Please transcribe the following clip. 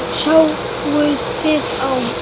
Sáuð þið þá?